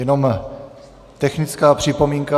Jenom technická připomínka.